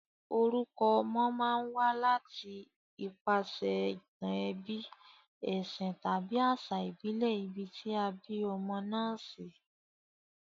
Orukọ ọmọ ma n wá láti ipasè ìtàn ebí, èsìn tàbí àsà ìbílè ibi tí a bí ọmọ náà sí